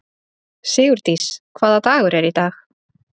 Sigurdís, hvaða dagur er í dag?